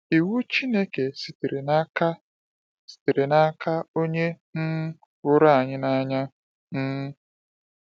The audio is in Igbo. Iwu Chineke sitere n’aka sitere n’aka Onye um hụrụ anyị n’anya. um